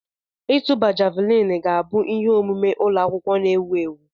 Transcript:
Ịtụba javuliini ga-abụ ihe omume ụlọ akwụkwọ na-ewu ewu.